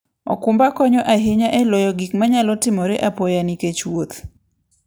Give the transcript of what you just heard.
okumba konyo ahinya e loyo gik manyalo timore apoya nikech wuoth.